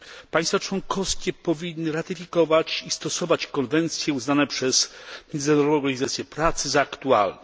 Państwa członkowskie powinny ratyfikować i stosować konwencje uznane przez Międzynarodową Organizację Pracy za aktualne.